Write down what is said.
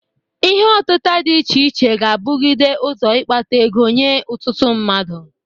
Ihe ọtịta dị iche iche ga-abụgide ụzọ ịkpata ego nye ụtụtụ mmadụ.